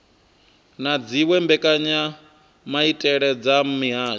na dziwe mbekanyamaitele dza mihasho